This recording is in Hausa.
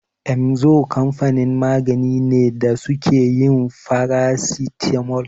Emzor kamfanin magani ne da suke yin farasitamol.